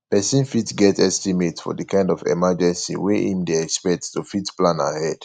person fit get estimate for di kind of emergency wey im dey expect to fit plan ahead